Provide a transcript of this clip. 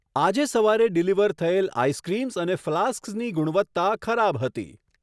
આજે સવારે ડિલિવર થયેલ આઈસક્રીમ્સ અને ફ્લાસ્ક્સની ગુણવત્તા ખરાબ હતી.